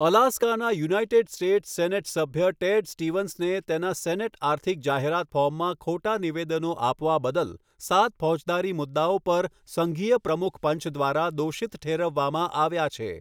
અલાસ્કાના United States Senate સભ્ય Ted સ્ટીવન્સને તેના સેનેટ આર્થિક જાહેરાત ફોર્મમાં ખોટા નિવેદનો આપવા બદલ સાત ફોજદારી મુદ્દાઓ પર સંઘીય પ્રમુખ પાંચ દ્વારા દોષિત ઠેરવવામાં આવ્યા છે.